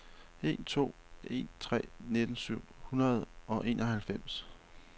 en to en tre nitten syv hundrede og enoghalvfems